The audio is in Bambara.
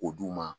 O d'u ma